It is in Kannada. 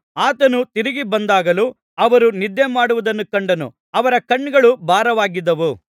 ಆತನು ತಿರುಗಿ ಬಂದಾಗಲೂ ಅವರು ನಿದ್ದೆಮಾಡುವುದನ್ನು ಕಂಡನು ಅವರ ಕಣ್ಣುಗಳು ಭಾರವಾಗಿದ್ದವು